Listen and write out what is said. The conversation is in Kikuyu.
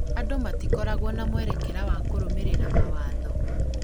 andũ matikoragwo na mwerekera wa kũrũmĩrĩra mawatho